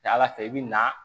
Ca ala fɛ i bɛ na